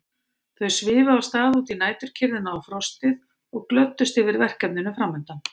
Þau svifu af stað út í næturkyrrðina og frostið og glöddust yfir verkefninu framundan.